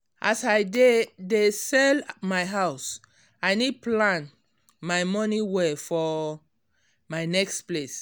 as i dey dey sell um my house i need plan my money well for um my next place